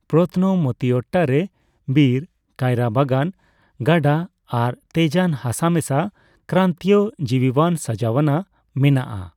ᱯᱚᱛᱛᱱᱚ ᱢᱚᱛᱤᱭᱚᱴᱴᱟ ᱨᱮ ᱵᱤᱨ, ᱠᱟᱭᱨᱟ ᱵᱟᱜᱟᱱ, ᱜᱟᱰᱟ ᱟᱨ ᱛᱮᱡᱟᱱ ᱦᱟᱥᱟ ᱢᱮᱥᱟ ᱠᱨᱟᱱᱛᱤᱭᱚ ᱡᱤᱣᱤᱣᱟᱱ ᱥᱟᱡᱟᱣᱱᱟ ᱢᱮᱱᱟᱜᱼᱟ ᱾